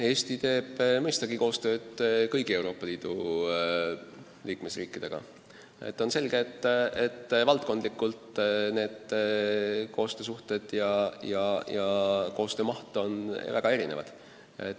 Eesti teeb mõistagi koostööd kõigi Euroopa Liidu liikmesriikidega, aga on selge, et valdkondlikult on need suhted ja koostöö maht väga erinevad.